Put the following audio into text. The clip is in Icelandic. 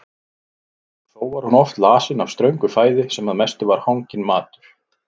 Og þó var hún oft lasin af ströngu fæði sem að mestu var hanginn matur.